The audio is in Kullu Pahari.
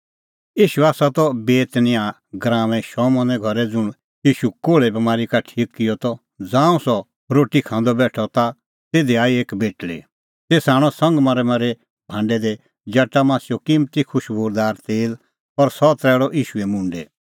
ईशू त बेतनियाह गराऊंऐं शमौने घरै ज़ुंण ईशू कोल़्हे बमारी का ठीक किअ त ज़ांऊं सह रोटी खांदअ बेठअ ता तिधी आई एक बेटल़ी तेसा आणअ संगमरमरे भांडै दी जटामांसीओ किम्मती खुशबूदार तेल और सह तरैल़अ ईशूए मुंडै